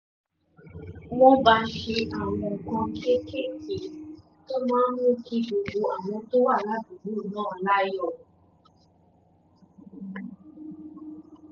wọ́n bá ṣe àwọn nǹkan kéékèèké tó máa ń mú kí gbogbo àwọn tó wà ládùúgbò náà láyọ̀